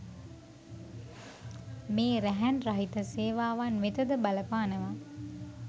මේ රැහැන් රහිත සේවාවන් වෙතද බලපානවා